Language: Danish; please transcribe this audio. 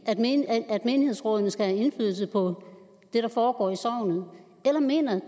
menighedsrådene skal have indflydelse på det der foregår i sognene eller mener